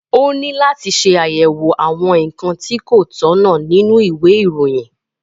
Ó ní láti ṣe àyẹ̀wò àwọn nǹkan tí kò tọ̀nà nínú ìwé ìròyìn